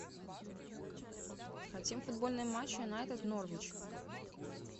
хотим футбольный матч юнайтед норвич